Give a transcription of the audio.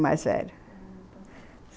mais velho, uhum.